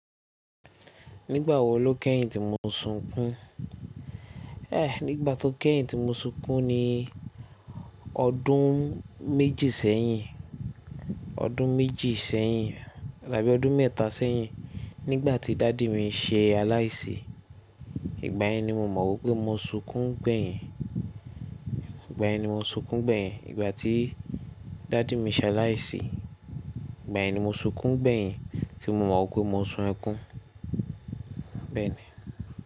Nígbà wo ló kẹ́yìn tí mo sun kún? Eh, nígbà tó kẹ́yìn tí mo sunkún ni ọdún méjì sẹ́yìn, ọdún méjì sẹ́yìn tàbí ọdún mẹ́ta sẹ́yìn nígbà tí dàddy mi se aláìsí. Ìgbà yẹn ni mo mọ̀ wípé mo sunkún gbẹ̀yìn. Ìgbà ẹni mo sunkún gbẹ̀yìn ìgbà tí dàdì mi se aláìsí. Ìgbà yen ni mo sunkún gbẹ̀yìn tí mo mọ̀ pé mo sun ẹkún. Bẹ́ẹ̀ ni.